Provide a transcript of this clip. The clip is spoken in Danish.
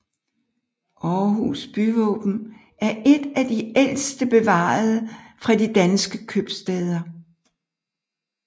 Aarhus byvåben er et af de ældste bevarede fra de danske købstæder